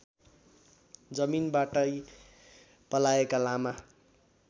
जमीनबाटै पलाएका लामा